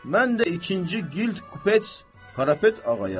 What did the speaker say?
Mən də ikinci qild kupets Qarapet ağayam.